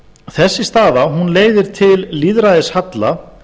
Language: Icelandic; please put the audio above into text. þessi staða leiðir til lýðræðishalla